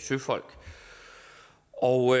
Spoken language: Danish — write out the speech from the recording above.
søfolk og